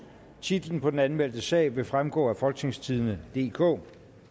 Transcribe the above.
titlen på den anmeldte sag vil fremgå af folketingstidende DK